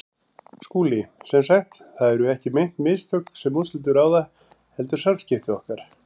SKÚLI: Sem sagt: það eru ekki meint mistök, sem úrslitum ráða, heldur samskipti okkar?